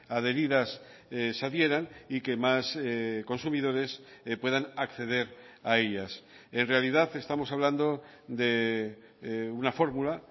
adheridas se adhieran y que más consumidores puedan acceder a ellas en realidad estamos hablando de una fórmula